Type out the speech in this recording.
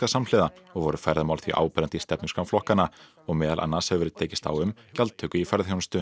samhliða og voru ferðamál því áberandi í stefnuskrám flokkanna og meðal annars hefur verið tekist á um gjaldtöku í ferðaþjónustu